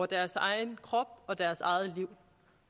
deres egen krop og deres eget liv